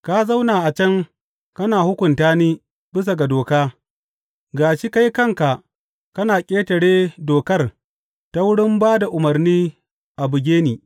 Ka zauna a can kana hukunta ni bisa ga doka, ga shi kai kanka kana ƙetare dokar ta wurin ba da umarni a buge ni!